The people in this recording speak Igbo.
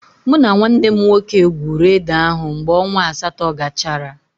Mụ na nwanne m nwoke gwuuru ede ahụ mgbe ọnwa asatọ gachara.